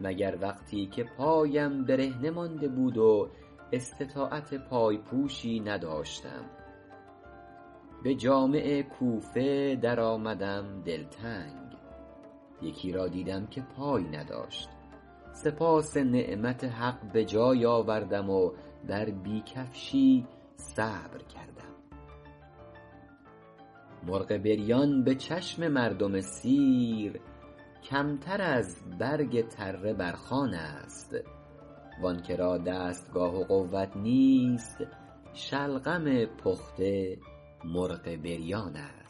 مگر وقتی که پایم برهنه مانده بود و استطاعت پای پوشی نداشتم به جامع کوفه در آمدم دلتنگ یکی را دیدم که پای نداشت سپاس نعمت حق به جای آوردم و بر بی کفشی صبر کردم مرغ بریان به چشم مردم سیر کمتر از برگ تره بر خوان است وآن که را دستگاه و قوت نیست شلغم پخته مرغ بریان است